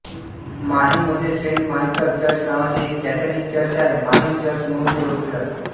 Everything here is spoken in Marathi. माहीमध्ये सेंट मायकल चर्च नावाचे एक कॅथॉलिक चर्च आहे माहीम चर्च म्हणून ते ओळखले जाते